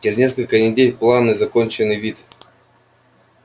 через несколько недель планы законченный вид